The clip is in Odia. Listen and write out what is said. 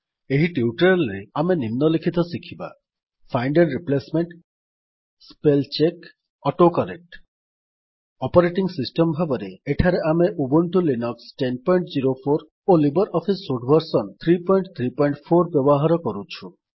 ଏହି ଟ୍ୟୁଟୋରିଆଲ୍ ରେ ଆମେ ନିମ୍ନଲିଖିତ ଶିଖିବା find and replacement spell check auto correct operating system ଭାବରେ ଏଠାରେ ଆମେ ଉବୁଣ୍ଟୁ ଲିନକ୍ସ ୧୦୦୪ ଓ ଲିବର ଅଫିସ୍ ସୁଟ୍ ଭର୍ସନ୍ ୩୩୪ ବ୍ୟବହାର କରୁଛୁ